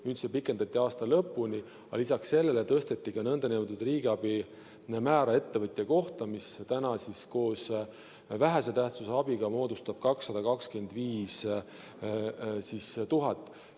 Nüüd seda pikendati aasta lõpuni, aga lisaks sellele tõsteti ka nn riigiabi määra ettevõtja kohta, mis täna koos vähese tähtsusega abiga moodustab 225 000.